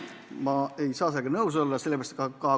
Ma ei saa sellega nõus olla.